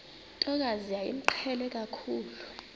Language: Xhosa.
ntokazi yayimqhele kakhulu